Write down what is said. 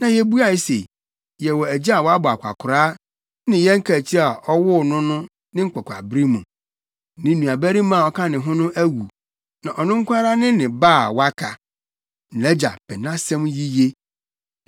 Na yebuae se, ‘Yɛwɔ agya a wabɔ akwakoraa ne yɛn kaakyiri a ɔwoo no ne nkwakoraabere mu. Ne nuabarima a ɔka ne ho no awu. Na ɔno nko ara ne ne na ba a waka. Nʼagya pɛ nʼasɛm yiye.’